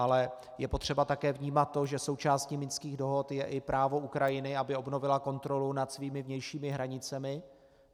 Ale je potřeba také vnímat to, že součástí minských dohod je i právo Ukrajiny, aby obnovila kontrolu nad svými vnějšími hranicemi.